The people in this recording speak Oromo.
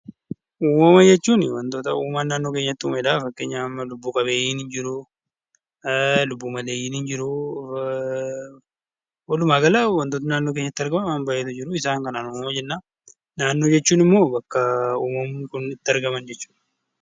Uumama jechuuni wantoota uuman naannoo keenyatti uumedha. fakkeenyaf, lubbuu qabeenyiin jiru, lubbuu maleeyyiin jiru, waluma gala wantoonni naannoo keenyatti argaman waan baay'eetu jiru isaan kanaan uumama jenna. naannoo jechuun immoo bakka uumamni kun itti argaman jechudha.